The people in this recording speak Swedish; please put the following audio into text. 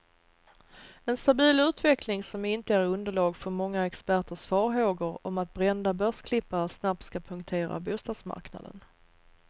En stabil utveckling, som inte ger underlag för många experters farhågor om att brända börsklippare snabbt ska punktera bostadsmarknaden.